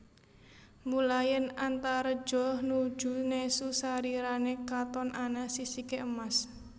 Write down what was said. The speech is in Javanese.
Mula yèn Antareja nuju nesu sarirané katon ana sisiké emas